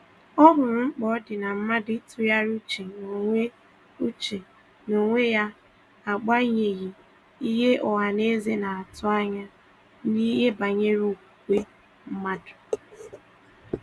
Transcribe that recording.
Ọ hụrụ mkpa ọ dị mmadụ ị tụgharịa uche na onwe uche na onwe ya na agbanyeghị ihe ọhaneze na atụ anya ya n'ihe banyere okwukwe mmadụ.